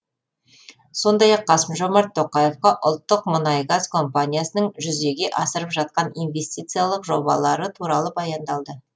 сондай ақ қасым жомарт тоқаевқа ұлттық мұнай газ компаниясының жүзеге асырып жатқан инвестициялық жобалары туралы баяндалды